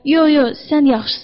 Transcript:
Yox, yox, sən yaxşısan.